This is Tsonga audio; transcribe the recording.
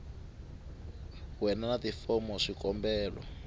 we na tifomo ta swikombelo